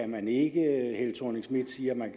man ikke fru thorning schmidt siger at man